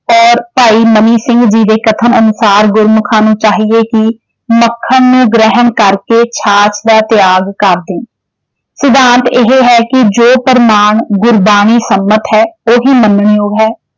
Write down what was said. ਔਰ ਭਾਈ ਮਨੀ ਸਿੰਘ ਜੀ ਦੇ ਕਥਨ ਅਨੁਸਾਰ ਗੁਰਮੁਖਾਂ ਨੂੰ ਚਾਹੀਏ ਕਿ ਮੱਖਣ ਨੂੰ ਗ੍ਰਹਿਣ ਕਰਕੇ ਛਾਛ ਦਾ ਤਿਆਗ ਕਰ ਦੇਣ। ਸਿਧਾਂਤ ਏਹੇ ਹੈ ਕਿ ਜੋ ਪ੍ਰਮਾਣ ਗੁਰਬਾਣੀ ਸੰਮਤ ਹੈ ਉਹੀ ਮੰਨਣਯੋਗ ਹੈ।